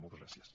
moltes gràcies